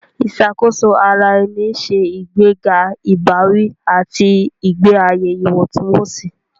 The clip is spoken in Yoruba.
Ìṣàkóso ara ẹni ń ṣe ìgbéga ìbáwí àti ìgbé ayé ìwọ̀ntúnwọ̀nsì.